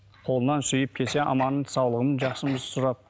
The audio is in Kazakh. қолынан сүйіп келсе аманын саулығын жақсымыз сұрап